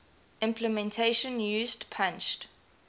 implementation used punched